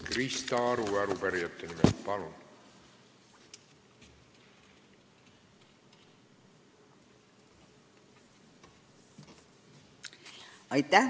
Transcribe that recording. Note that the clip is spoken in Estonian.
Krista Aru arupärijate nimel, palun!